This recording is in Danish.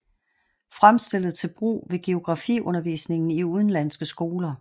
Fremstillet til brug ved geografiundervisningen i udenlandske skoler